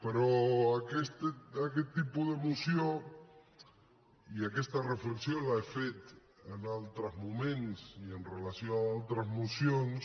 però aquest tipus de moció i aquesta reflexió l’he fet en altres moments i amb relació a altres mocions